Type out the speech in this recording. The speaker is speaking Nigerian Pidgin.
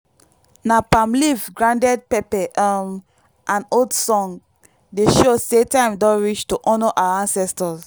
na palm leaf grounded pepper um and old song dey show say time don reach to honour our ancestors.